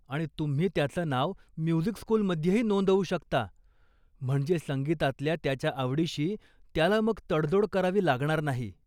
आणि तुम्ही त्याचं नाव म्युझिक स्कूलमध्येही नोंदवू शकता, म्हणजे संगीतातल्या त्याच्या आवडीशी त्याला मग तडजोड करावी लागणार नाही.